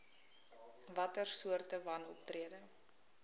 watter soorte wanoptrede